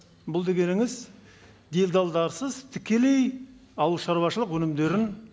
бұл дегеніңіз делдалдарсыз тікелей ауыл шаруашылық өнімдерін